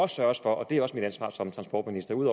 sørges for og det er også mit ansvar som transportminister ud